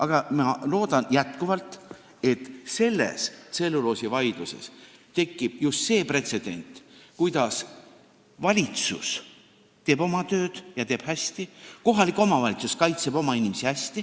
Aga ma loodan jätkuvalt, et selles tselluloosivaidluses tekib just see pretsedent, et valitsus teeb oma tööd, ja teeb hästi, ning kohalik omavalitsus kaitseb oma inimesi hästi.